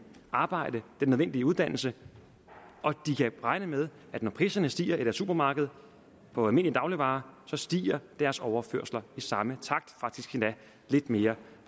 arbejde den nødvendige uddannelse og de kan regne med at når priserne stiger i deres supermarked på almindelige dagligvarer så stiger deres overførsler i samme takt faktisk endda lidt mere